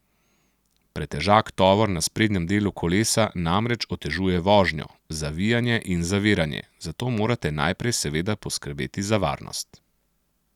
Pretežak tovor na sprednjem delu kolesa namreč otežuje vožnjo, zavijanje in zaviranje, zato morate najprej seveda poskrbeti za varnost.